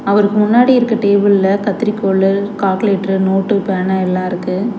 அவருக் முன்னாடி இருக்க டேபிள்ல கத்திரிக்கோலு கால்குலேட்டரு நோட்டு பேனா எல்லா இருக்கு.